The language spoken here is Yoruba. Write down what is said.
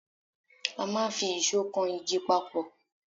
A máà ń fi ìsó kan igi papọ̀